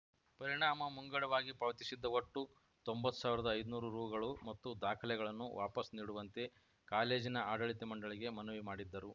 ಪರಿಣಾಮ ಮಂಗಡವಾಗಿ ಪಾವತಿಸಿದ್ದ ಒಟ್ಟು ತೊಂಬತ್ತು ಸಾವಿರದ ಐದುನೂರು ರುಗಳು ಮತ್ತು ದಾಖಲೆಗಳನ್ನು ವಾಪಸ್‌ ನೀಡುವಂತೆ ಕಾಲೇಜಿನ ಆಡಳಿತ ಮಂಡಳಿಗೆ ಮನವಿ ಮಾಡಿದ್ದರು